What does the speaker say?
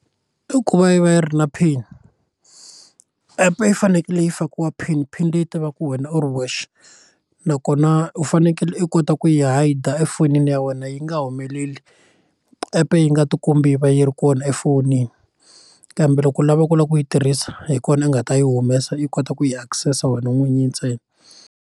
I ku va yi va yi ri na pin epe yi fanekele yi fakiwa pin pin leyi tiva ku wena u ri wexe nakona u fanekele u kota ku yi hide efonini ya wena yi nga humeleli epe yi nga tikombi yi va yi ri kona efonini kambe loko u lava ku lava ku yi tirhisa hi kona u nga ta yi humesa i kota ku yi access wena n'winyi ntsena.